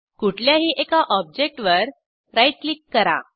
कुठल्याही एका ऑब्जेक्टवर राईट क्लिक करा